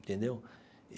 Entendeu?